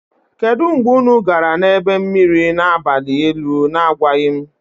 Kedu mgbe unu gara na ebe mmiri na abalị elu na-agwaghị m?